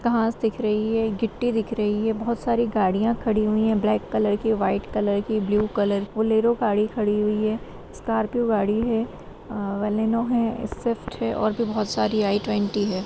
घास दिख रही है गिट्टी दिख रही है बहोत सारी गाड़ियाँ खड़ी हुई है ब्लैक कलर की व्हाइट कलर की ब्लू कलर बोलेरो गाड़ी खड़ी हुई है स्कॉर्पियो गाड़ी है आ बलेनो है स्विफ्ट है और भी बहोत सारी है आइ ट्वेंटी है।